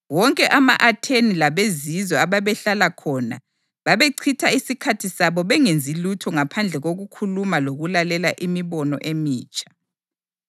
(Wonke ama-Atheni labezizwe ababehlala khona babechitha isikhathi sabo bengenzi lutho ngaphandle kokukhuluma lokulalela imibono emitsha.)